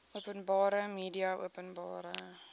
openbare media openbare